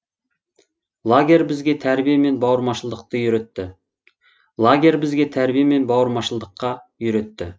лагерь бізге тәрбие мен бауырмашылдықты үйретті лагерь бізге тәрбие мен бауырмашылдыққа үйретті